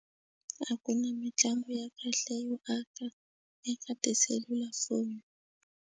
A ku na mitlangu ya kahle yo aka eka tiselulafoni.